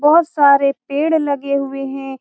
बहुत सारे पेड़ लगे हुए हैं।